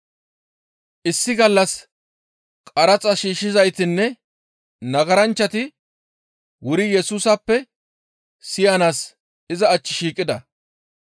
Issi gallas qaraxa shiishshizaytinne nagaranchchati wuri Yesusappe siyanaas iza achchi shiiqida.